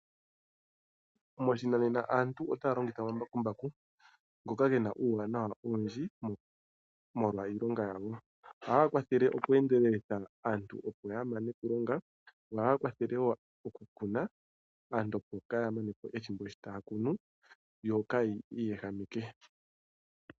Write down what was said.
Moshinanena aantu otaya longitha omambakumbaku ngoka gena uuwanawa owundji molwa iilonga yago. Ohaga kwathele oku endelelitha aantu opo yamone okulonga. Ohaga kwathele wo okukuna, aantu opo kaaya manepo ethimbo shotaya kunu , yokaya iyehameke.